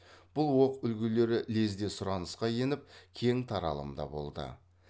бұл оқ үлгілері лезде сұранысқа еңіп кең таралымда болды